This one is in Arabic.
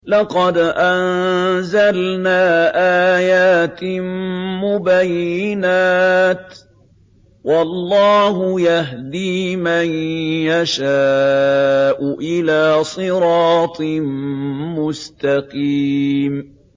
لَّقَدْ أَنزَلْنَا آيَاتٍ مُّبَيِّنَاتٍ ۚ وَاللَّهُ يَهْدِي مَن يَشَاءُ إِلَىٰ صِرَاطٍ مُّسْتَقِيمٍ